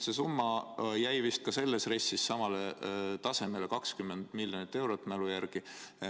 See summa jäi vist ka selles RES-is samale tasemele, 20 miljonit eurot mälu järgi.